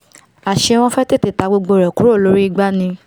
àṣé wọ́n fẹ́ tètè ta gbogbo ẹ̀ kúrò lórí igbá ni